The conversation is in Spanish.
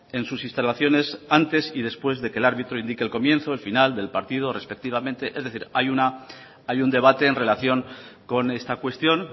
en sus instalaciones antes y después de que el árbitro indique el comienzo el final del partido respectivamente es decir hay un debate en relación con esta cuestión